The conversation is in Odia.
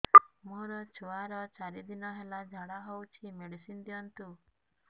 ମୋର ଛୁଆର ଚାରି ଦିନ ହେଲା ଝାଡା ହଉଚି ମେଡିସିନ ଦିଅନ୍ତୁ